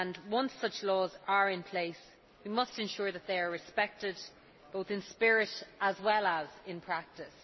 Once such laws are in place, we must ensure that they are respected, both in spirit as well as in practice.